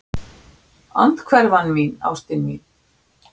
Andhverfan mín, ástin mín.